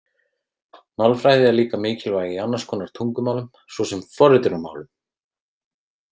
Málfræði er líka mikilvæg í annars konar tungumálum, svo sem forritunarmálum.